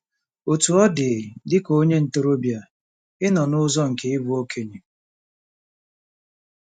Otú ọ dị, dị ka onye ntorobịa, ị nọ n'ụzọ nke ịbụ okenye.